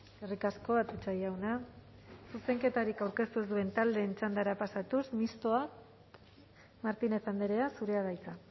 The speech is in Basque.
eskerrik asko atutxa jauna zuzenketarik aurkeztu ez duen taldeen txandara pasatuz mistoa martínez andrea zurea da hitza